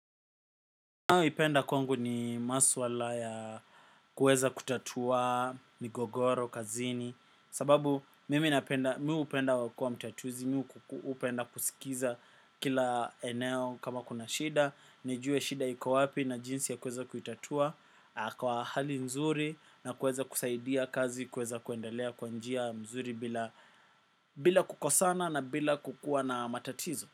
Ninayoipenda kwangu ni maswala ya kuweza kutatua migogoro kazini. Sababu mimi hupenda kuwa mtatuzi, mimi hupenda kusikiza kila eneo kama kuna shida nijue shida iko wapi na jinsi ya kuweza kuitatua kwa hali nzuri na kuweza kusaidia kazi kuweza kuendelea kwa njia nzuri bila bila kukosana na bila kukuwa na matatizo.